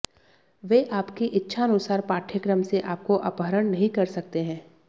वे आपकी इच्छानुसार पाठ्यक्रम से आपको अपहरण नहीं कर सकते हैं